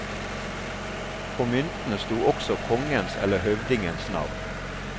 På myntene stod også kongens eller høvdingens navn.